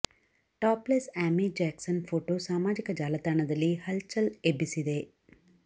top less Amy Jackson photo ಸಾಮಾಜಿಕ ಜಾಲತಾಣದಲ್ಲಿ ಹಲ್ ಚಲ್ ಎಬ್ಬಿಸಿದೆ